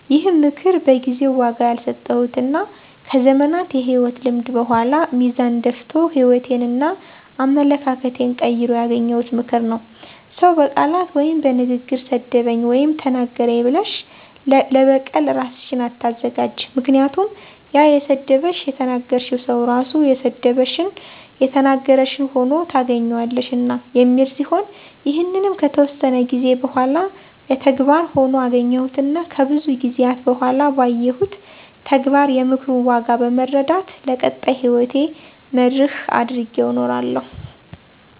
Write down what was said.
ይህም ምክር በጊዜው ዋጋ ያልሰጠሁትና ከዘመናት የህይወት ልምድ በኃላ ሚዛን ደፍቶ ህይወቴንና አመለካከቴን ቀይሮ ያገኘሁት ምክር "ሰው በቃላት ወይም በንግግር ሰደበኝ ወይም ተናገረኝ ብለሽ ለበቀል እራስሽን አታዘጋጅ ምክንያቱም ያ የሰደበሽ / የተናገረሽ ሰው ራሱ የሰደበሽን / የተናገረሽን ሆኖ ታገኝዋለሽና" የሚል ሲሆን ይህንንም ከተወሰነ ጊዜ በኃላ በተግባር ሆኖ አገኘሁትና ከብዙ ጊዜአት በኃላ ባየሁት ተግባር የምክሩን ዋጋ በመረዳት ለቀጣይ ህይወቴ መርህ አድርጌው እኖራለሁ።